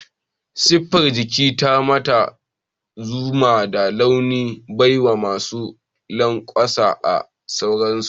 Siffar jiki ta Mata suna da laushi, baiwa, masu lanƙwasa da sauransu.